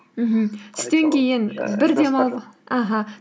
мхм түстен кейін бір демалып аха